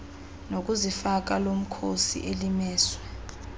nokuzifaka lomkhosi elimiswe